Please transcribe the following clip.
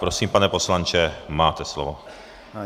Prosím, pane poslanče, máte slovo.